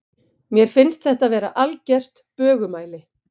Mér finnst þetta vera algert bögumæli.